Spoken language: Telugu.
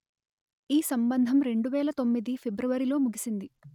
ఈ సంబంధం రెండు వెలు తొమ్మిది ఫిబ్రవరిలో ముగిసింది